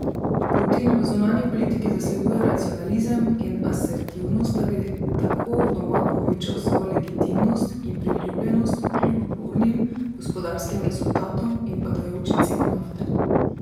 Putin v zunanji politiki zasleduje nacionalizem in asertivnost, da bi tako doma povečal svojo legitimnost in priljubljenost kljub bornim gospodarskim rezultatom in padajoči ceni nafte.